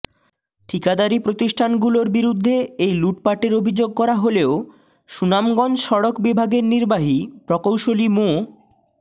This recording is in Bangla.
ঠিকাদারি প্রতিষ্ঠানগুলোর বিরুদ্ধে এই লুটপাটের অভিযোগ করা হলেও সুনামগঞ্জ সড়ক বিভাগের নির্বাহী প্রকৌশলী মো